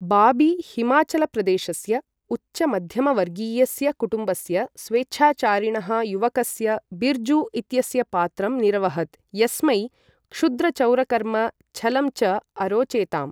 बाबी हिमाचलप्रदेशस्य उच्चमध्यमवर्गीयस्य कुटुम्बस्य स्वेच्छाचारिणः युवकस्य बिर्जु इत्यस्य पात्रं निरवहत् यस्मै क्षुद्रचौरकर्म, छलं च अरोचेताम्।